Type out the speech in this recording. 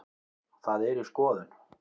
Það er í skoðun.